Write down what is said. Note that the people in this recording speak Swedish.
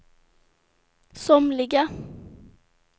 somliga